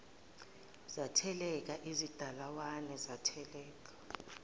zatheleka ezikadalawane zatheleka